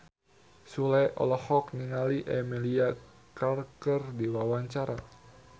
Sule olohok ningali Emilia Clarke keur diwawancara